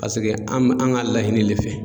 Paseke an me an ga laɲini le fɛ